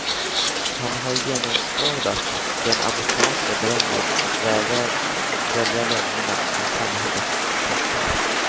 Han har genomskådat den amerikanska drömmen och vägrar svälja lögnerna från samhällets toppar.